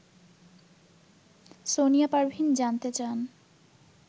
সোনিয়া পারভীন জানতে চান